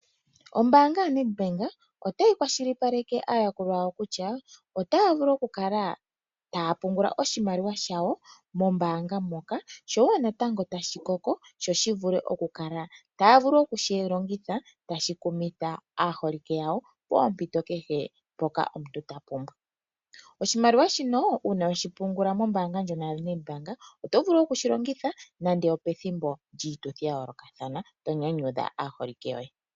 Ombaanga yaNedbank otayi kwashilipaleke aayakulwa yawo kutya otaya vulu okukala taya pungula oshimaliwa shawo mombaanga moka sho wo natango ashi koko sho shi vule okukala taya vulu okushi longitha tashi kumitha aaholike yawo poompito kehe mpoka omuntu ta pumbwa. Oshimaliwa shino uuna we shi pungula mombaanga ndjono yaNedbank oto vulu okushi longitha nando opethimbo lyiituthi ya yoolokathana to nyanyudha aaholike yoye.